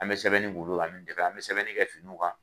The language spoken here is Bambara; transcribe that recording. An bɛ sɛbɛnni boli olu kan an bɛ jɛn an bɛ sɛbɛnni kɛ finiw kan.